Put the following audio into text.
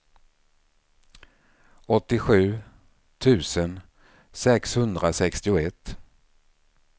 åttiosju tusen sexhundrasextioett